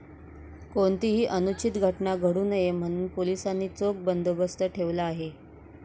कोणतीही अनुचित घटना घडू नये म्हणून पोलिसांनी चोख बंदोबस्त ठेवला आहे.